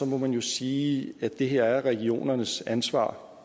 må man jo sige at det her er regionernes ansvar